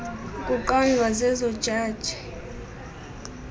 kuqondwa zezo jaji